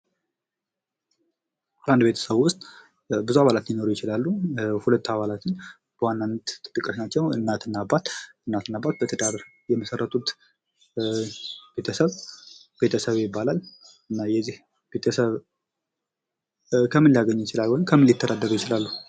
በአንድ ቤተሰብ ውስጥ ብዙ አባላት ሊኖሩ ይችላሉ። ሁለቱ አባላት ግን በዋናነትተጠቃሽ ናቸው እናት እና አባት እናት እና አባት በትዳር የመሠረቱት ቤተሰብ ቤተሰብ ይባላል። እና የእዚህ ቤተሰብ ከምን ሊያገኙ ይችላሉ ወይም ከምን ሊተዳደሩ ይችላሉ?